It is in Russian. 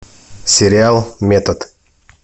сериал метод